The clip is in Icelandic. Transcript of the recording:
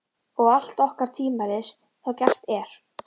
Og allt orkar tvímælis þá gert er.